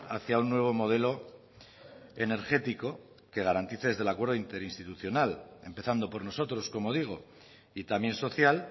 hacia un nuevo modelo energético que garantice desde el acuerdo interinstitucional empezando por nosotros como digo y también social